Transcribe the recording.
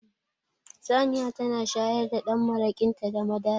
Saniya tana shayar da dan marakinta da madara